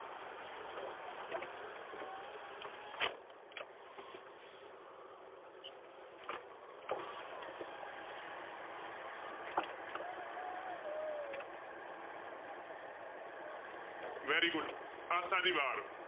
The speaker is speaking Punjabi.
Very good Asa di war.